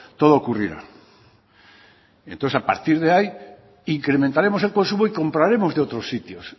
todo ocurrirá entonces a partir de ahí incrementaremos el consumo y compraremos de otros sitios